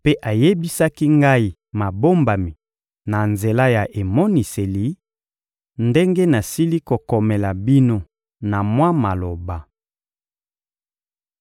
mpe ayebisaki ngai mabombami na nzela ya emoniseli, ndenge nasili kokomela bino na mwa maloba.